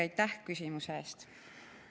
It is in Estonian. Aitäh küsimuse eest!